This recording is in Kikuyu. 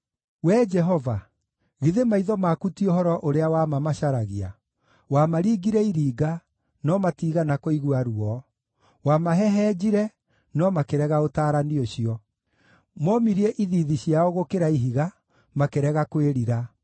Wee Jehova, githĩ maitho maku ti ũhoro ũrĩa wa ma macaragia? Wamaringire iringa, no matiigana kũigua ruo; wamahehenjire, no makĩrega ũtaarani ũcio. Momirie ithiithi ciao gũkĩra ihiga, makĩrega kwĩrira.